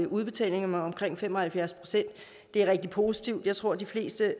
udbetalinger med omkring fem og halvfjerds procent det er rigtig positivt jeg tror at de fleste